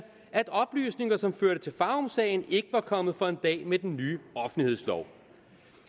oplysninger som førte til farumsagen ikke var kommet for en dag med den nye offentlighedslov